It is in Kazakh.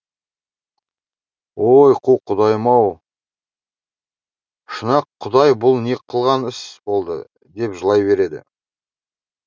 ой қу құдайым ау шұнақ құдай бұл не қылған іс болды деп жылай береді